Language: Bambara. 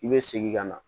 I bɛ segin ka na